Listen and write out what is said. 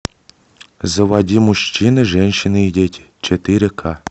заводи мужчины женщины и дети четыре к